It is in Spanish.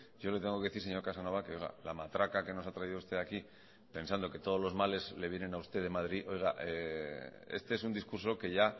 yo le tengo que decir señor casanova que la matraca que nos ha traído usted aquí pensando que todos los males le vienen a usted de madrid oiga este es un discurso que ya